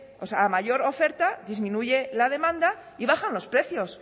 o a mayor oferta disminuye la demanda y bajan los precios